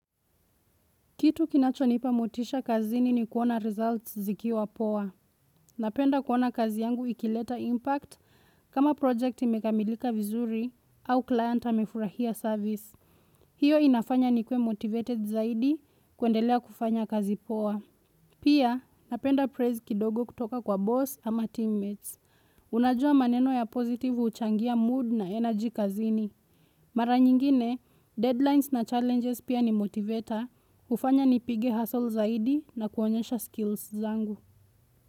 Kitu kinachonipamotisha kazini ni kuona results zikiwa poa. Napenda kuona kazi yangu ikileta impact kama projecti mekamilika vizuri au client amefurahia service. Hiyo inafanya nikue motivated zaidi kuendelea kufanya kazi poa. Pia napenda praise kidogo kutoka kwa boss ama teammates. Unajua maneno ya positive huchangia mood na energy kazini Mara nyingine, deadlines na challenges pia ni motivator hufanya nipige hassle zaidi na kuonyesha skills zangu.